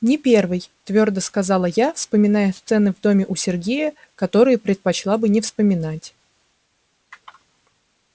не первый твёрдо сказала я вспоминая сцены в доме у сергея которые предпочла бы не вспоминать